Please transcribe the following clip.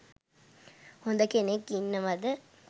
හොඳ කෙනෙක් ඉන්නවද?